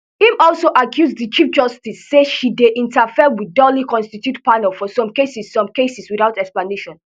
im also accuse di chief justice say she dey interfere wit duly constituted panels for some cases some cases without explanation